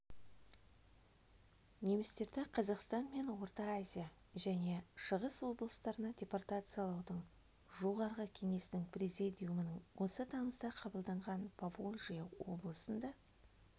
немістерді қазақстан мен орта азия және шығыс облыстарына депортациялаудың басталуы жоғарғы кеңесінің президиумының осы тамызда қабылданған поволжье облысында